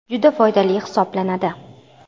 Juda foydali hisoblanadi.